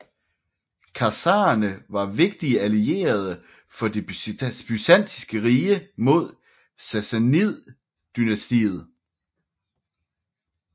Khazarerne var vigtige allierede for det byzantinske rige mod Sassanidedynastiet